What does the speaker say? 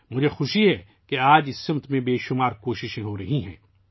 مجھے خوشی ہے کہ آج اس سمت میں بہت سی کوششیں ہو رہی ہیں